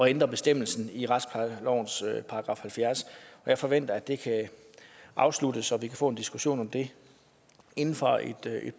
ændre bestemmelsen i retsplejelovens § halvfjerds jeg forventer at det kan afsluttes og at vi kan få en diskussion om det inden for et